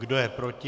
Kdo je proti?